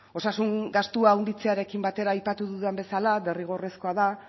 osasun gastua handitzearekin batera aipatu dudan bezala derrigorrezkoa da